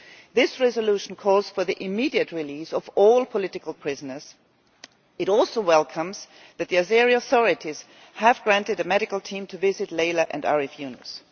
This resolution calls for the immediate release of all political prisoners. It also welcomes that the Azeri authorities have allowed a medical team to visit Leyla and Arif Yunus.